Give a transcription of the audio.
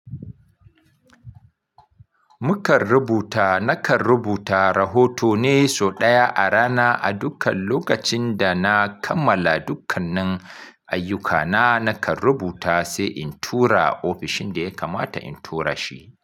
Mukan rubuta, nakan rubuta rahoto ne sau ɗaya a rana. A dukkan lokacin da na kammala dukkanin ayyukana, nakan rubuta sai in tura ofishin da ya kamata in tura shi.